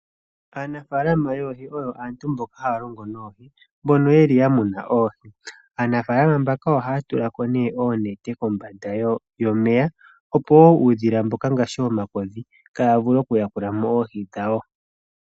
Aanafaalama yoohi oyo aantu mboka haya longo noohi, mbono yeli yamuna oohi, aanafaalama mbaka ohaya tula ko nee oonete kombanda yomeya opo woo uudhila mboka ngaashi omakodhi kaawu vule oku yakula mo oohi dhawo.